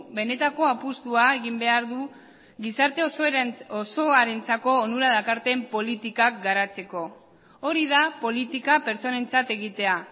benetako apustua egin behar du gizarte osoarentzako onura dakarten politikak garatzeko hori da politika pertsonentzat egitea